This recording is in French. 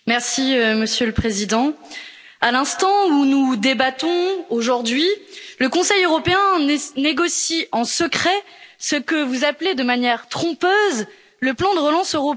Monsieur le Président, à l'instant où nous débattons aujourd'hui, le Conseil européen négocie en secret ce que vous appelez de manière trompeuse le plan de relance européen.